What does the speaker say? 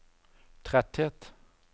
tretthet